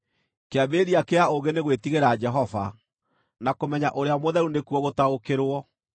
“Kĩambĩrĩria kĩa ũũgĩ nĩ gwĩtigĩra Jehova, na kũmenya Ũrĩa Mũtheru nĩkuo gũtaũkĩrwo.